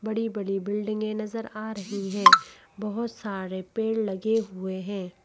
बड़ी-बड़ी बिल्डिंगे नजर आ रही हैं बहोत सारे पेड़ लगे हुए हैं।